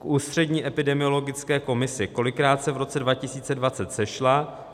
K Ústřední epidemiologické komisi - kolikrát se v roce 2020 sešla?